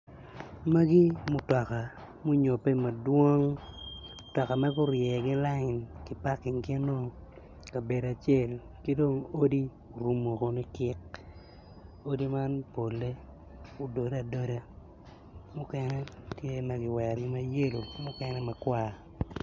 Magi mutoka munyobbe ma dwong mutoka murye ki layin ma kipaking gino i kabedo acel ki odi orumo woko likik odi man polle odode adoda mukene tye ma kiwerogi ma yelo ki mukene makwar.